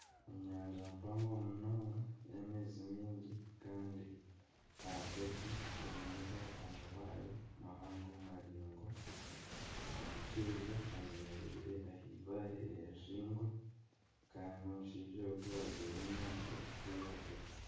Enyanja mpango munonga y'amaizi maingi kandi ahagati eineho amabaare mahaango maringwa. Omushaija ayemereire ah'ibaare eriringwa Kandi omushaija ogu ajwaire emyenda erikwiragura.